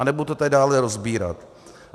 A nebudu to tady dále rozebírat.